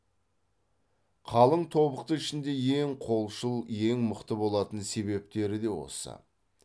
қалың тобықты ішінде ең қолшыл ең мықты болатын себептері де осы